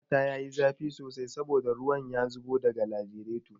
Injin motata ya yi zafi sosai saboda ruwan ya zubo daga lagiraton